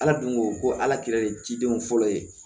Ala dun ko ko ala kira de didenw fɔlɔ ye